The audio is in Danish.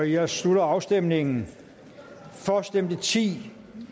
jeg slutter afstemningen for stemte ti